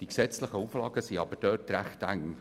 Die gesetzlichen Auflagen sind aber recht eng.